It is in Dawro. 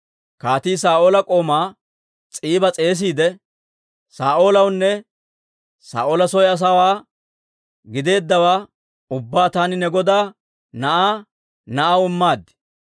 Kaatii, Saa'oola k'oomaa S'iiba s'eesiide, «Saa'oolewaanne Saa'oola soo asaawaa gideeddawaa ubbaa taani ne godaa na'aa na'aw immaad.